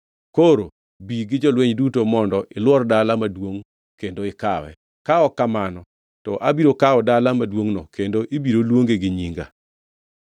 Koro bi gi jolweny duto mondo ilwor dala maduongʼ kendo ikawe. Ka ok kamano to abiro kawo dala maduongʼno kendo ibiro luonge gi nyinga.”